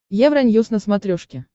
евроньюс на смотрешке